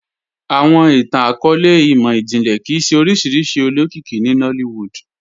Awọn ìtàn-akọọlẹ̀ imọ-jinlẹ kíí ṣẹ oriṣiríṣi olókìkì ní Nollywood